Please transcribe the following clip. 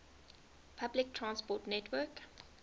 public transport network